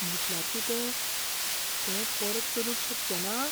म्हुटल्यार कितें? तें परत चलूंक शकचेंना?